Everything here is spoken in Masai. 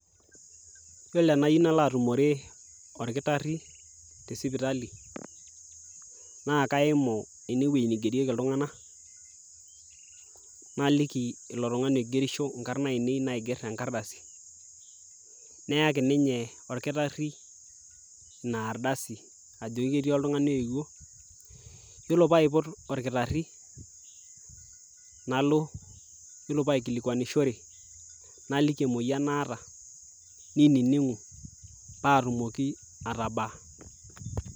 yiolo enayieu nalo atumore olkitarri tesipitali naa kaimu enewueji nigerieki iltung'anak naliki ilo tung'ani oigerisho inkarrn ainei naigerr tenkardasi neyaki ninye orkitarri ina ardasi ajoki ketii oltung'ani oyewuo yiolo paipot orkitarri nalo yiolo paikilikuanishore naliki emoyian naata ninining'u patumoki atabaa.